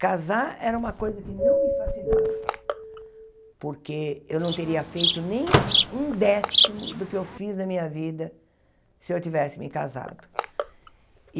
Casar era uma coisa que não me fascinava, porque eu não teria feito nem um décimo do que eu fiz na minha vida se eu tivesse me casado.